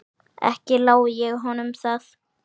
Ekki lái ég honum það.